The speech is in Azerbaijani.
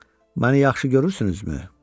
Məni yaxşı görürsünüzmü?